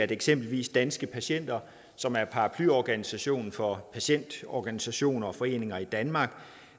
eksempelvis danske patienter som er paraplyorganisationen for patientorganisationer og foreninger i danmark